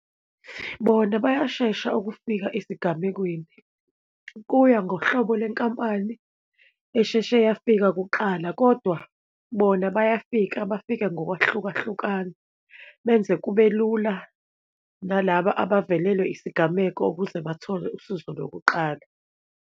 Bona bayashesha ukufika esigamekweni, kuya ngohlobo lwenkampani esheshe yafika kuqala, kodwa bona bayafika, bafike ngokwahlukahlukana, benze kube lula nalaba abavelelwe isigameko ukuze bathole usizo lokuqala.